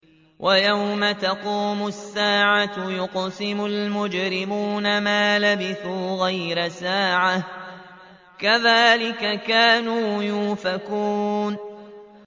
وَيَوْمَ تَقُومُ السَّاعَةُ يُقْسِمُ الْمُجْرِمُونَ مَا لَبِثُوا غَيْرَ سَاعَةٍ ۚ كَذَٰلِكَ كَانُوا يُؤْفَكُونَ